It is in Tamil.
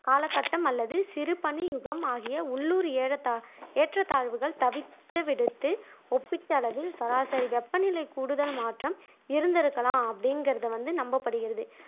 காலகட்டம் அல்லது சிறு பனி யுகம் ஆகிய உள்ளூர் ஏறத்தா ஏற்றத்தாழ்வுகள் தவித்துவிடுத்து ஒப்பீட்டளவில் சராசரி வெப்பநிலை கூடுதல் மாற்றம் இருந்திருந்திருக்கலாம் அப்படிங்குற்தை வந்து நம்பப்படுகிறது